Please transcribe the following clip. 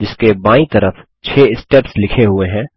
जिसके बायीं तरफ 6 स्टेप्स लिखे हुए हैं